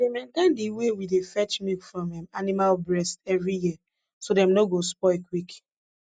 we dey maintain de way we dey fetch milk from um animal breast every year so dem nor go spoil quick